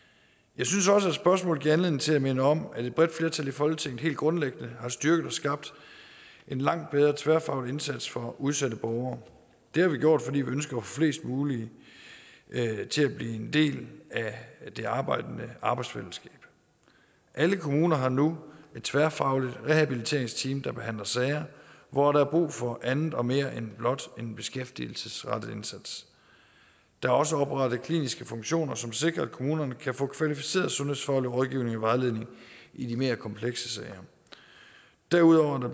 jeg synes også at spørgsmålet giver anledning til at minde om at et bredt flertal i folketinget helt grundlæggende har styrket og skabt en langt bedre tværfaglig indsats for udsatte borgere det har vi gjort fordi vi ønsker at få flest muligt til at blive en del af det arbejdende arbejdsfællesskab alle kommuner har nu et tværfagligt rehabiliteringsteam der behandler sager hvor der er brug for andet og mere end blot en beskæftigelsesrettet indsats der er også oprettet kliniske funktioner som sikrer at kommunerne kan få kvalificeret sundhedsfaglig rådgivning og vejledning i de mere komplekse sager derudover er